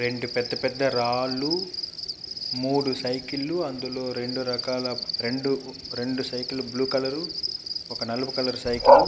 రెండు పెద్ద పెద్ద రాళ్ళూ మూడు సైకిలు అందులో రెండు రకాల సైకిల్ బ్లూ కలర్ ఒక నలుపు కలర్ సైకిల్ --